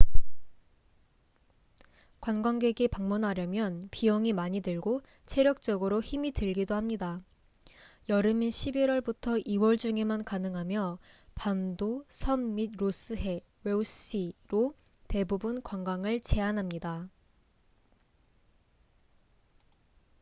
관광객이 방문하려면 비용이 많이 들고 체력적으로 힘이 들기도 합니다. 여름인 11월부터 2월 중에만 가능하며 반도 섬 및 로스 해ross sea로 대부분 관광을 제한합니다